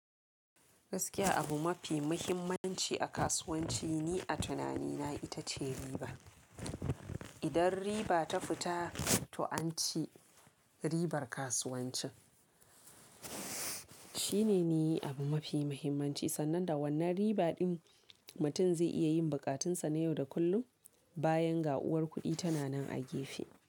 Gaskiya abu mafi muhimmanci a kasuwanci ni a tunanina ita ce riba. Idan riba ta fita, to an ci ribar kasuwanci. Shine ne abu mafi muhimmanci sannan da wannan riba ɗin mutum zai iya yin bukatunsa na yau da kullum bayan ga'uwar kuɗi tana nan a gefe.